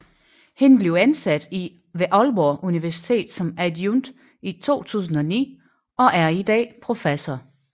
Han blev ansat ved Aalborg Universitet som adjunkt i 2009 og er i dag professor